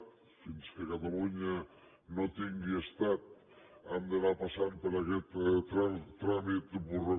fins que catalunya no tingui estat hem d’anar passant tràmit burro